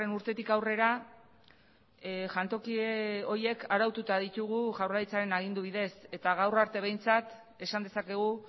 urtetik aurrera jantoki horiek araututa ditugu jaurlaritzaren agindu bidez eta gaur arte behintzat esan dezakegu